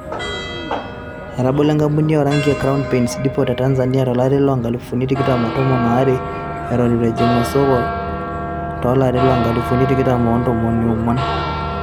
Etabolo enkampuni o ranki e crown paints dipot te Tanzania to lari loo nkalifuni tikitam o tomon aare eton eitu ejing o soko to lari lo nkalifuni tikitam oo tomon oonguan.